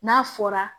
N'a fɔra